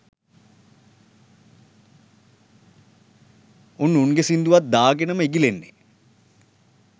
උන් උන්ගේ සිංදුවත් දාගෙනම ඉගිල්ලෙන්නේ